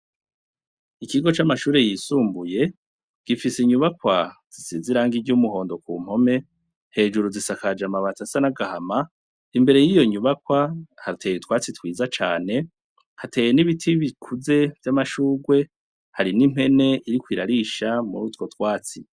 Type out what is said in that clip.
Ikigo c'amashure yisumbuye, gifise inyubakwa zisize irangi ry'umuhondo ku mpome. Hejuru zisakaje amabati asa n'agahama. Imbere y'iyo nyubakwa, hateye utwatsi twiza cane, hateye n'ibiti bikuze vy'amashurwe, hari n'impene iriko irarisha muri utwo twatsi.